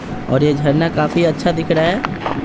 और यह झरना काफी अच्छा दिख रहा है।